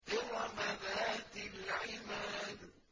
إِرَمَ ذَاتِ الْعِمَادِ